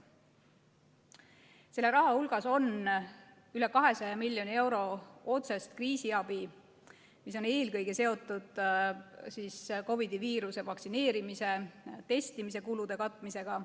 Selle raha hulgas on üle 200 miljoni euro otsest kriisiabi, mis on eelkõige seotud COVID-i, vaktsineerimise ja testimise kulude katmisega.